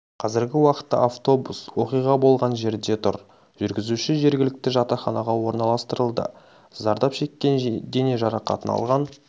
қазіргі уақытта абтобус оқиға болған жерде тұр жүргізуші жергілікті жатаханаға орналастырылды зарзап шеккен дене жарақатын алған